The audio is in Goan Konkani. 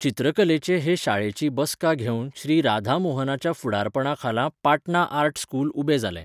चित्रकलेचे हे शाळेची बसका घेवन श्री राधा मोहनाच्या फुडारपणाखाला पाटणा आर्ट स्कूल उबें जालें.